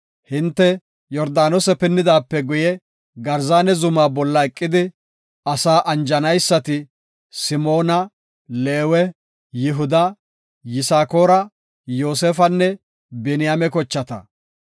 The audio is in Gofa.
“Hinte Yordaanose pinnidaape guye Garzaana zuma bolla eqidi asaa anjanaysati, Simoona, Leewe, Yihuda, Yisakoora, Yoosefanne Biniyaame kochata.